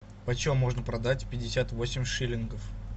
по чем можно продать пятьдесят восемь шиллингов